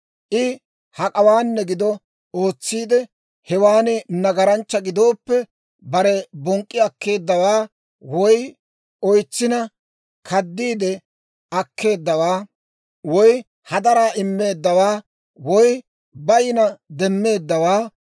I hak'awaanne gido, ootsiide, hewaan nagaranchcha gidooppe, bare bonk'k'i akkeeddawaa, woy oytsina kaddiide akkeeddawaa, woy hadaraa immeeddawaa woy, bayinna demmeeddawaa,